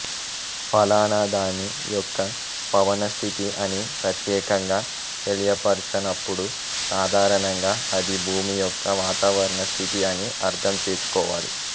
ఫలానా దాని యొక్క పవనస్థితి అని ప్రత్యేకంగా తెలియపరచనప్పుడు సాధారణంగా అది భూమి యొక్క వాతావరణస్థితి అని అర్థం చేసుకోవాలి